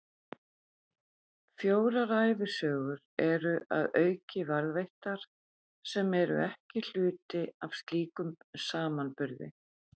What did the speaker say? Fjórar ævisögur eru að auki varðveittar, sem eru ekki hluti af slíkum samanburði.